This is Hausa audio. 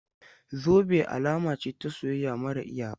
Zube alama ce ta soyayya mara iyaka.